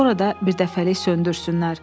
Sonra da bir dəfəlik söndürsünlər.